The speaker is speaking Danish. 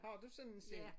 Har du sådan en selv?